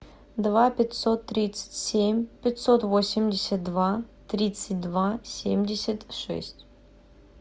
два пятьсот тридцать семь пятьсот восемьдесят два тридцать два семьдесят шесть